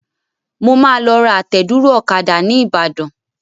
Mo máa lọ ra àtẹ̀dúró ọ̀kadà ní ìbàdàn.